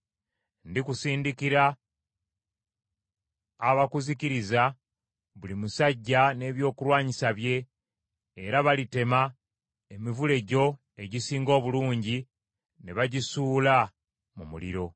Ndikusindikira abakuzikiriza, buli musajja n’ebyokulwanyisa bye, era balitema emivule gyo egisinga obulungi ne bagisuula mu muliro.